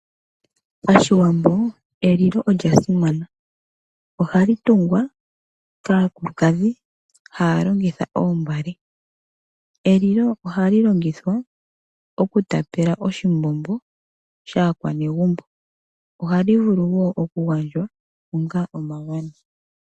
Pashiwambo elilo olyasimana ohali tungwa kaakulukadhi haya longitha oombale. Elilo ohali longithwa okutapela oshimbombo shaakwanegumbo. Ohali vulu wo okugandjwa onga omagano.